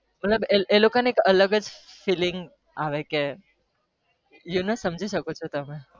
મતલબ એ લોકો એક અલગ જ filing આવે કે you know સમજી શકો